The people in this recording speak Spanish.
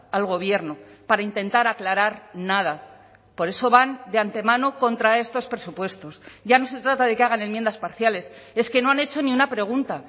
al gobierno para intentar aclarar nada por eso van de antemano contra estos presupuestos ya no se trata de que hagan enmiendas parciales es que no han hecho ni una pregunta